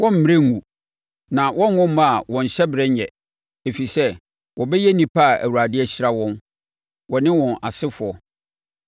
Wɔremmrɛ nnwu na wɔrenwo mma a wɔn hyɛberɛ nnyɛ; ɛfiri sɛ wɔbɛyɛ nnipa a Awurade ahyira wɔn, wɔne wɔn asefoɔ.